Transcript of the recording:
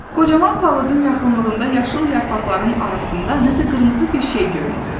Qocaman palıdın yaxınlığında yaşıl yarpaqların arasında nəsə qırmızı bir şey göründü.